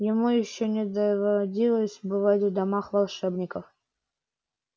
ему ещё не доводилось бывать в домах волшебников